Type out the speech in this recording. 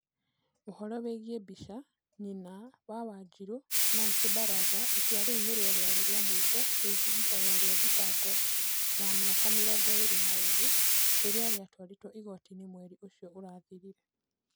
Ũhoro wĩgiĩ mbica, Nyina, wa wanjiru ,nancy baraza Itua rĩu nĩrĩo rĩarĩ rĩa mũico rĩgiĩ ihoya rĩa thitango ya mĩaka mĩrongo ĩĩrĩ na ĩĩrĩ, rĩrĩa rĩatwarirũo igootiinĩ mweri ũcio ũrathirire